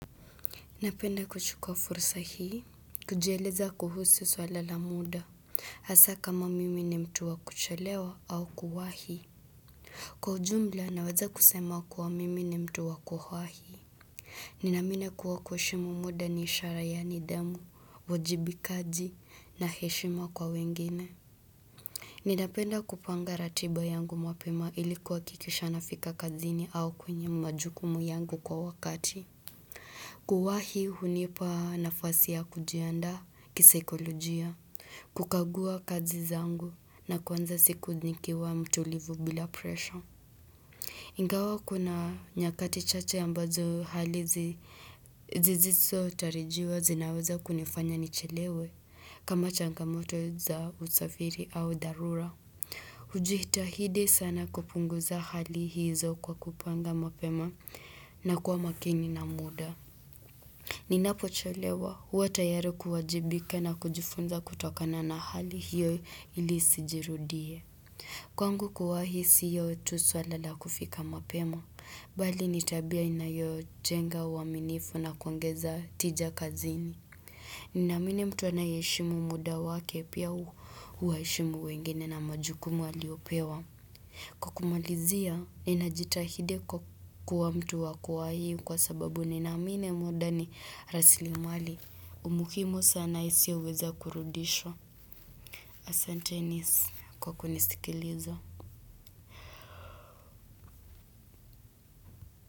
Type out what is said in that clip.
Napenda kuchukwa fursa hii, kujieleza kuhusi swala la muda, hasa kama mimi ni mtu wakucholewa au kuwahi. Kwa jumla, naweza kusema kwa mimi ni mtu wa kuwahi. Ninaamini kuwa kuheshimu muda ni ishara ya nidhamu, wajibikaji na heshima kwa wengine. Ninapenda kupanga ratiba yangu mapema ili kuwakikisha nafika kazini au kwenye majukumu yangu kwa wakati. Kuwahi hunipa nafasi ya kujianda kisaikolojia kukagua kazi zangu na kuanza siku nikiwa mtulivu bila pressure Ingawa kuna nyakati chache ambazo hali zizizotarajiwa zinaweza kunifanya nichelewe kama changamoto za usafiri au dharura ujitahidi sana kupunguza hali hizo kwa kupanga mapema na kwa makini na muda Ninapochelewa huwa tayari kuwajibika na kujifunza kutokana na hali hiyo ili isijirudie. Kwangu kuwahi siyo tu swala la kufika mapema. Bali ni tabia inayo njenga uaminifu na kuangeza tija kazini. Ninaamini mtu anayeheshimu muda wake pia uwaheshimu wengine na majukumu aliopewa. Kwa kumalizia, ninajitahidi kwa kuwa mtu wa kuwahi kwa sababu ninaamini muda ni rasilimali. Muhimu sana isioweza kurudishwa. Asanteni kwa kunisikiliza.